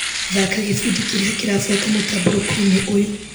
Thaka gĩbindi kĩrĩa kĩrabuata mũtambũrũko-inĩ ũyũ.